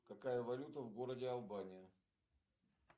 какая валюта в городе албания